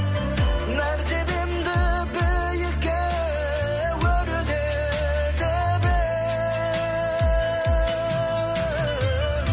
мәртебемді биікке өрлетіп ең